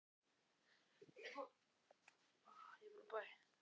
Ylur, stilltu tímamælinn á fjörutíu og sjö mínútur.